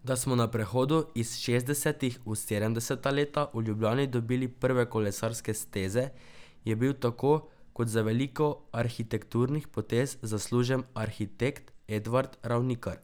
Da smo na prehodu iz šestdesetih v sedemdeseta leta v Ljubljani dobili prve kolesarske steze, je bil tako kot za veliko arhitekturnih potez zaslužen arhitekt Edvard Ravnikar.